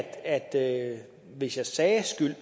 at hvis jeg sagde skyld